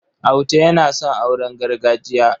Auta yana son auren gargajiya.